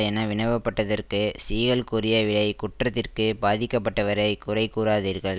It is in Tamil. என வினவப்பட்டதற்கு சீகல் கூறிய விடை குற்றத்திற்கு பாதிக்கப்பட்டவரை குறை கூறாதீர்கள்